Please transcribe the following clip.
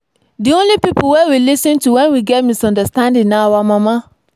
the only people we lis ten to wen we get misunderstanding na our mama